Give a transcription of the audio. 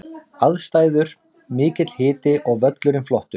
Aðstæður: Mikill hiti og völlurinn flottur.